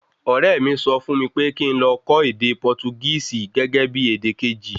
Ọrẹ mi sọ fún mí pé kín ló kọ́ ède Portugisi gẹ́gẹ́bí èdè Kejì